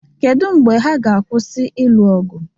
Kedu mgbe ha ga-akwụsị ịlụ ọgụ?